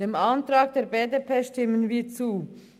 Dem Antrag der BDP stimmen wir zu.